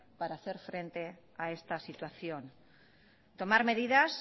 para hacer frente a esta situación tomar medidas